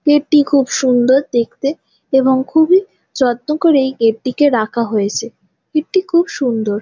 Gate -টি খুব সুন্দর দেখতে এবং খুবই যত্ন করে গেট -টি রাখা হয়েছে গেট -টি খুব সুন্দর।